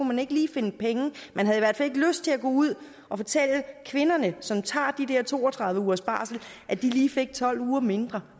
man ikke lige finde penge man havde i hvert fald ikke lyst til at gå ud og fortælle kvinderne som tager de der to og tredive ugers barsel at de lige fik tolv uger mindre